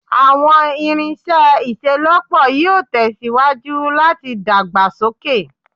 Àwọn irinṣẹ́ ìṣelọ́pọ̀ yíò tèsíwájú láti dàgbàsókè